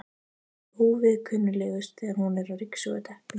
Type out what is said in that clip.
Hún er óviðkunnanlegust þegar hún er að ryksuga teppin.